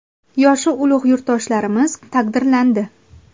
Yoshi ulug‘ yurtdoshlarimiz taqdirlandi.